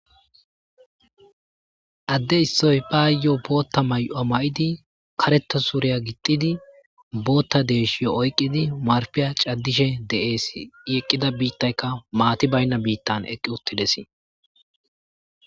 Adde issoy baayo bootha may'uwa mayidi karetha suriya gixxidi bootha deyshiyo oykidi marphiya caddishe de'es i eqqida biitayka maati bayna biitan eqqi uttides.